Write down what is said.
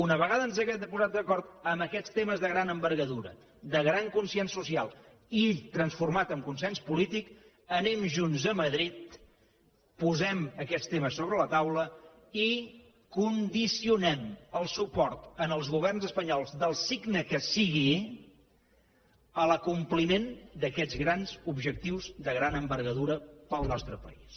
una vegada ens hàgim posat d’acord en aquests temes de gran envergadura de gran consens social i transformat en consens polític anem junts a madrid posem aquests temes sobre la taula i condicionem el suport als governs espanyols del signe que siguin a l’acompliment d’aquests grans objectius de gran envergadura per al nostre país